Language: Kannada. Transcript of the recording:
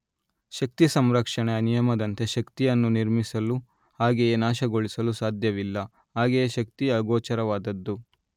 ಶಕ್ತಿ ಸಂರಕ್ಷಣೆಯ ನಿಯಮದಂತೆ ಶಕ್ತಿಯನ್ನು ನಿರ್ಮಿಸಲು ಹಾಗೆಯೆ ನಾಶಗೊಳಿಸಲು ಸಾಧ್ಯವಿಲ್ಲ ಹಾಗೆಯೆ ಶಕ್ತಿ ಅಗೋಚರವಾದದ್ದು.